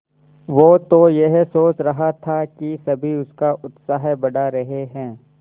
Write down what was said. वो तो यह सोच रहा था कि सभी उसका उत्साह बढ़ा रहे हैं